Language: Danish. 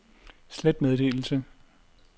slet meddelelse